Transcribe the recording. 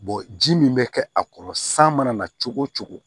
ji min bɛ kɛ a kɔrɔ san mana na cogo o cogo